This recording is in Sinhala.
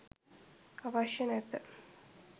අවශ්‍ය නැත.